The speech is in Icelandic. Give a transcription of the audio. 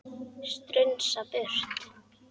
Strunsa burtu.